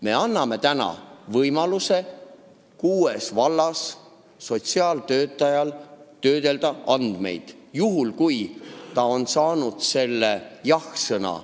Me anname täna kuue valla sotsiaaltöötajatele võimaluse töödelda andmeid, juhul kui nad saavad selle jah-sõna.